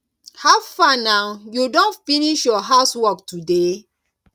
how far na you don finish your house work today